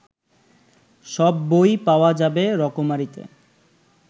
সব বই পাওয়া যাবে রকমারি'তে